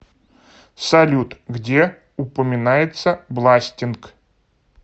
салют где упоминается бластинг